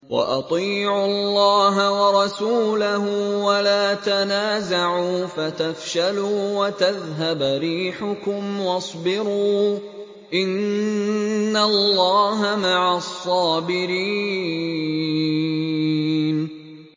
وَأَطِيعُوا اللَّهَ وَرَسُولَهُ وَلَا تَنَازَعُوا فَتَفْشَلُوا وَتَذْهَبَ رِيحُكُمْ ۖ وَاصْبِرُوا ۚ إِنَّ اللَّهَ مَعَ الصَّابِرِينَ